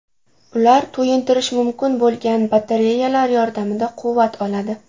Ular to‘yintirish mumkin bo‘lgan batareyalar yordamida quvvat oladi.